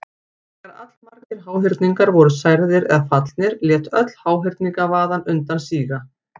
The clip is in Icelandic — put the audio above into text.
Þegar allmargir háhyrningar voru særðir eða fallnir lét öll háhyrningavaðan undan síga.